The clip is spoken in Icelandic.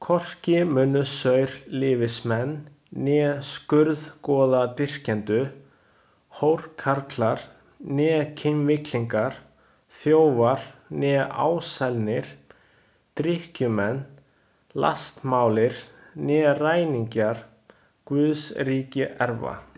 Hvorki munu saurlífismenn né skurðgoðadýrkendur, hórkarlar né kynvillingar, þjófar né ásælnir, drykkjumenn, lastmálir né ræningjar Guðs ríki erfa.